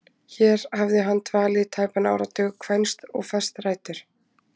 Hér hafði hann dvalið í tæpan áratug, kvænst og fest rætur.